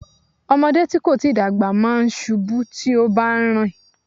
Ọmọdé tí kò tíì dàgbà máa ń ṣubú tí ó bá ń rìn.